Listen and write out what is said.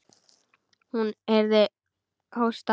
Hún heyrði hósta.